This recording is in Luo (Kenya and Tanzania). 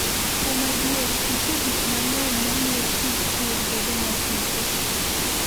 Kuom adier, nitie gik mang'eny mamiyo tij pur bedo masiko.